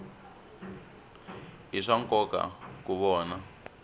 i swa nkoka ku vona